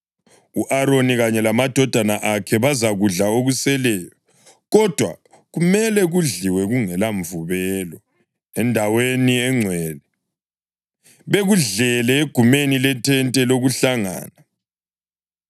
U-Aroni kanye lamadodana akhe bazakudla okuseleyo, kodwa kumele kudliwe kungela mvubelo endaweni engcwele; bakudlele egumeni lethente lokuhlangana.